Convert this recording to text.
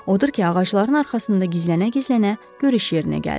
Odur ki, ağacların arxasında gizlənə-gizlənə görüş yerinə gəldi.